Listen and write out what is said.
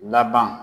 Laban